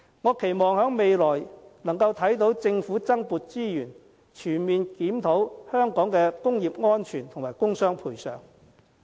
我期望未來能夠看到政府增撥資源，全面檢討香港的工業安全和工傷賠償。